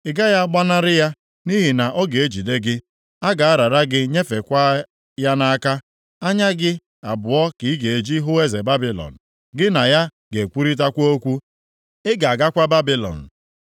Ị gaghị agbanarị ya, nʼihi na ọ ga-ejide gị. A ga-arara gị nyefekwa ya nʼaka. Anya gị abụọ ka ị ga-eji hụ eze Babilọn. Gị na ya ga-ekwurịtakwa okwu. Ị ga-agakwa Babilọn.